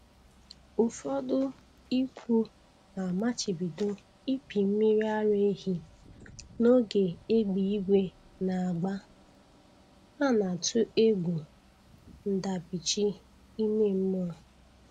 Ụfọdụ ikwu na-amachibido ịpị mmiri ara ehi n'oge égbè eluigwe na-agba,a na-atụ egwu ndabichi ime mmụọ.